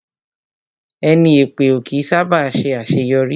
Ẹni èpè ó kí ń sá bà ṣe àṣéyọrí